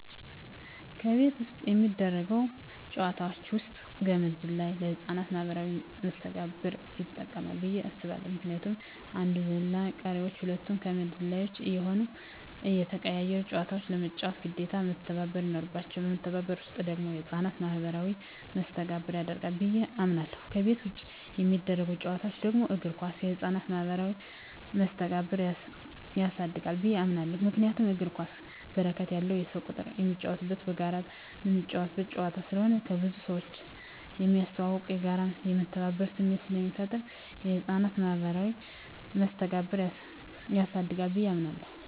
ከቤት ውስጥ የሚደረጉ ጨዋታወች ውስጥ ገመድ ዝላይ ለህፃናት ማኀበራዊ መስተጋብር ይጠቅማ ብየ አስባለሁ ምክንያቱም አንዱ ዘላይ ቀሪወች ሁለቱ ከመድ ወዝዋዥ እየሆኑና እየተቀያየሩ ጨዋታውን ለመጫወት ግዴታ መተባበር ይኖርባቸዋል በመተባበር ውስጥ ደግሞ የህፃናት ማኋበራዊ መስተጋብር ያድጋል ብየ አምናለሁ። ከቤት ውጭ የሚደረጉ ጨዋታወች ደግሞ እግር ኳስ የህፃናትን ማህበራዊ መስተጋብር ያሳድጋል ብየ አምናለሁ። ምክንያቱም እግር ኳስ በርከት ያለ የሰው ቁጥር የሚጫወትበትና በጋራ ምትጫወተው ጨዋታ ስለሆነ ከብዙ ሰውጋር ስለሚያስተዋውቅ፣ የጋራና የመተባበር ስሜት ስለሚፈጥር የህፃናትን ማኀበራዊ መስተጋብር ያሳድጋል ብየ አምናለሁ።